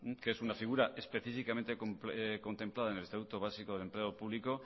que es una figura específicamente contemplada en el estatuto básico del empleo público